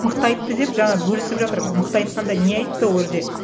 мықты айтты деп жаңа бөлісіп жатыр мықты айтқанда не айтты ол жерде